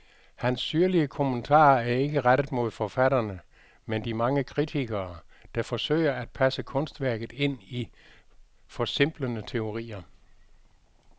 Hans syrlige kommentarer er ikke rettet mod forfatterne, men de mange kritikere, der forsøger at passe kunstværket ind i forsimplende teorier.